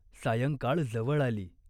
सायंकाळ जवळ आली.